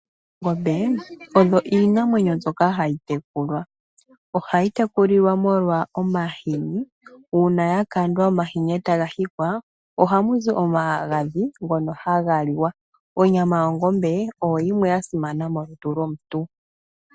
Oongombe odho iinamwenyo mbyoka hayi tekulwa. Ohadhi tekulilwa molwa omahini, uuna omahini gakandwa etaga hikwa ohamuzi omaghadhi ngono hagaliwa. Onyama yongombe oyo yimwe yasimana molutu lwo muntu.